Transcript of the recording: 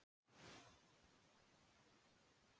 Myndir: Handritin heima.